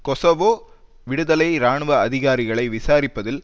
Kosovo விடுதலை இராணுவ அதிகாரிகளை விசாரிப்பதில்